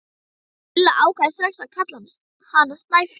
Lilla ákvað strax að kalla hana Snæfríði.